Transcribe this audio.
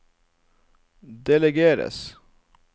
delegeres